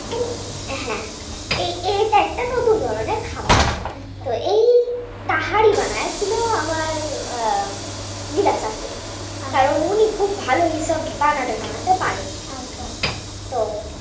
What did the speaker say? হ্যাঁ সেটা একটা নতুন ধরনের খাবার। , তো এই তাহারি বানিয়ে ছিল, আমার দিদা শাশুড়ি, কারণ এইসব উনি ভালো বানাতে টানাতে পারেন। , তো